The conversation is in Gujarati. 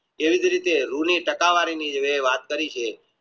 એવી જ રીતે જે રૂ ની તક્વરી ની જે વાત કરી છે